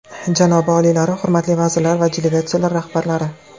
Janobi oliylari, hurmatli vazirlar va delegatsiyalar rahbarlari!